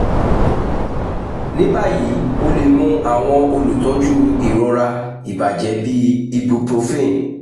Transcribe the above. ni bayi o le mu awọn olutọju irora ibajẹ bii ibuprofen